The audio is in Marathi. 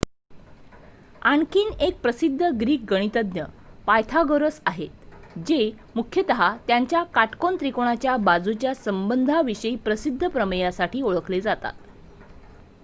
आणखी एक प्रसिद्ध ग्रीक गणितज्ञ पायथागोरस आहेत जे मुख्यतः त्यांच्या काटकोन त्रिकोणाच्या बाजूंच्या संबंधांविषयीच्या प्रसिद्ध प्रमेयासाठी ओळखले जातात